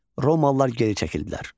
Romalılar geri çəkildilər.